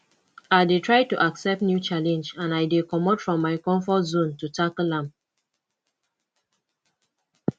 i dey try to accept new challenge and i dey comot from my comfort zone to tackle am